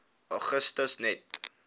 augustus net